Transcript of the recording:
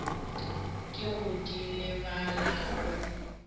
ke go di lebala o